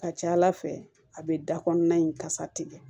Ka ca ala fɛ a bɛ da kɔnɔna in kasa tigɛ